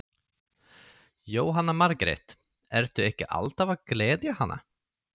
Jóhanna Margrét: Ertu ekki alltaf að gleðja hana?